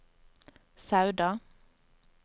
Sauda